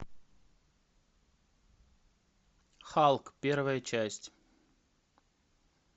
халк первая часть